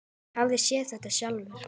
Ég hef séð þetta sjálf.